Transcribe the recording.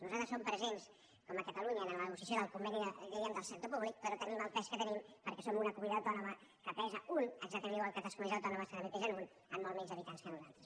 nosaltres som presents com a catalunya en la nego ciació del conveni diríem del sector públic però tenim el pes que tenim perquè som una comunitat autònoma que pesa un exactament igual que altres comunitats autònomes que també pesen un amb molts menys habitants que nosaltres